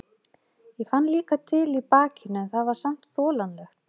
Ég fann líka til í bakinu en það var samt þolanlegt.